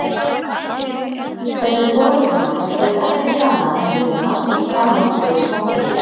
Þessir foreldrar manns gera ekkert annað en rífast og skammast yfir smotteríi.